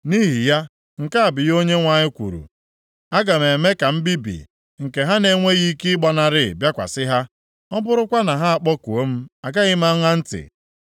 Nʼihi ya, nke a bụ ihe Onyenwe anyị kwuru, ‘Aga m eme ka mbibi, nke ha na-enweghị ike ịgbanarị, bịakwasị ha. Ọ bụrụkwa na ha akpọkuo m agaghị m aṅa ntị.